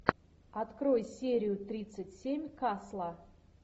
открой серию тридцать семь касла